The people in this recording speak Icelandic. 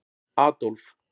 Adólf